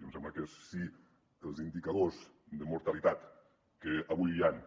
i em sembla que si els indicadors de mortalitat que avui hi han